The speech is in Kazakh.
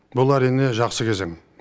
бұл әрине жақсы кезең